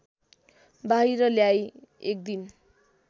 बाहिर ल्याई एकदिन